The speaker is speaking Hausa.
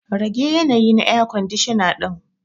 Rage yanayi na air kwandishana din.